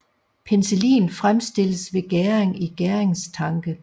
Penicillin fremstilles ved gæring i gæringstanke